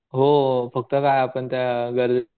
हो फक्त काय आपण त्या